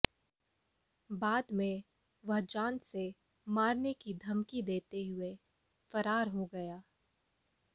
बाद में वह जान से मारने की धमकी देते हुए फरार हो गया